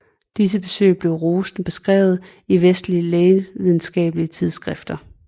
Disse besøg blev rosende beskrevet i vestlige lægevidenskabelige tidsskrifter